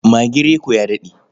Magin Reko ya daɗe.